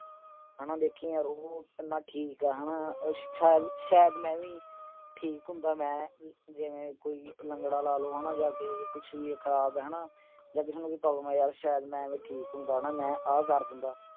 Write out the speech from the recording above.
ਹਨਾ ਦੇਖੀ ਯਾਰ ਉਹ ਕਿੰਨਾ ਠੀਕ ਆ ਹਨਾ। ਸ਼ਾਇਦ ਮੈਂ ਵੀ ਠੀਕ ਹੁੰਦਾ, ਜਿਵੇਂ ਕੋਈ ਲੰਗੜਾ ਲਾ ਲਓ, ਜਾਂ ਜਿਵੇਂ ਕਿਸੇ ਦਾ ਕੁਛ ਵੀ ਖਰਾਬ ਆ। ਜਾਂ ਕਿਸੇ ਨੂੰ ਕੋਈ problem ਆ, ਵੀ ਮੈਂ ਜੇ ਠੀਕ ਹੁੰਦਾ, ਮੈਂ ਆਹ ਕਰ ਦਿੰਦਾ।